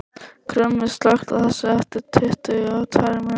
Krummi, slökktu á þessu eftir tuttugu og tvær mínútur.